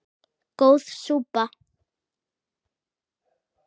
Góð súpa